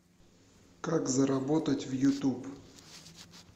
как заработать в ютуб